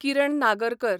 Kiran Nagarkar